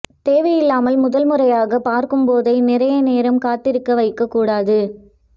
தேவை இல்லாமல் முதல் முறையாக பார்க்கும் போதே நிறைய நேரம் காத்திருக்க வைக்க கூடாது